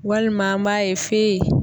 Walima an b'a ye f'e